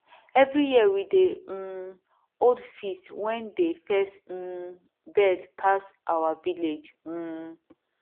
every year we dey um hold feast wen dey first um birds pass our village um